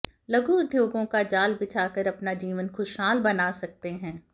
लघु उद्योगों का जाल बिछाकर अपना जीवन खुशहाल बना सकते हैं